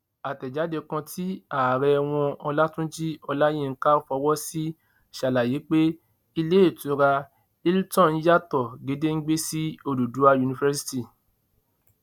àtẹjáde kan tí ààrẹ wọn ọlàtúnjì olayinka fọwọ sí ṣàlàyé pé iléetura hilton yàtọ gédéǹgbè sí òdúdúwá university